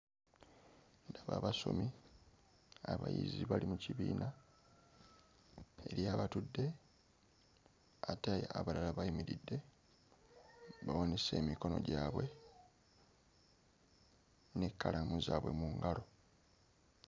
Ndaba abasomi abayizi bali mu kibiina. Eriyo abatudde ate abalala bayimiridde, bawanise emikono gwabwe n'ekkalaamu zaabwe mu ngalo.